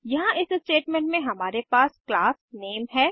यहाँ इस स्टेटमेंट में हमारे पास क्लास नेम है